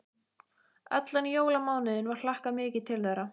Allan jólamánuðinn var hlakkað mikið til þeirra.